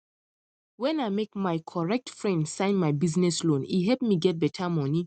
when i make my correct friend sign my business loan e help me get better money